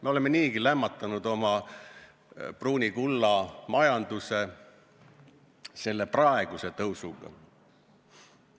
Me oleme niigi lämmatanud oma pruuni kulla majanduse selle praeguse tõusuga.